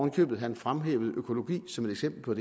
i købet at han fremhævede økologi som et eksempel på